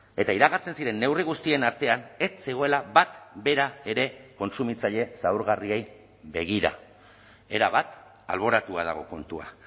eta iragartzen diren neurri guztien artean ez zegoela bat bera ere kontsumitzaile zaurgarriei begira erabat alboratua dago kontua